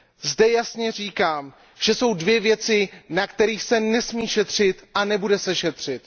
Zde jasně říkám, že jsou dvě věci, na kterých se nesmí šetřit a nebude se šetřit.